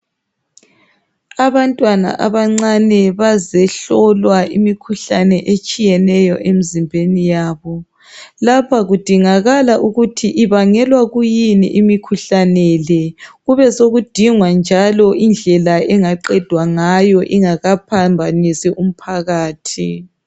abantwana abancane bazehlolwa imkhuhlane etshiyeneyo emzimbeni yabo lapha kudingakala ukuthi ibangelwa kuyini imikhuhlane le kubesokudingwa njalo indlela engaqedwa ngayo ingakaphambanisi umphakathi